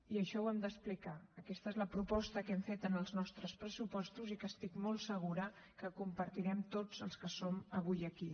i això ho hem d’explicar aquesta és la proposta que hem fet en els nostres pressupostos i que estic molt segura que compartirem tots els que som avui aquí